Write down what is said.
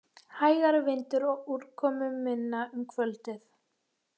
Hægari vindur og úrkomuminna um kvöldið